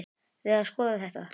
Við að skoða þetta.